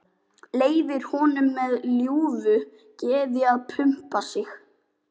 Leyfir honum með ljúfu geði að pumpa sig.